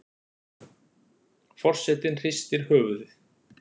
Forsetinn hristir höfuðið.